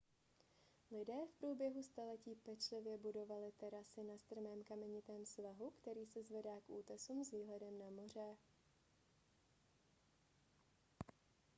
lidé v průběhu staletí pečlivě budovali terasy na strmém kamenitém svahu který se zvedá k útesům s výhledem na moře